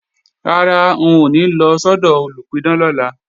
Rárá, n ò ní lọ sọ́dọ̀ olùpidán lọ́la